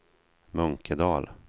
Munkedal